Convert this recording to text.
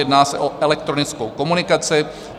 Jedná se o elektronickou komunikaci.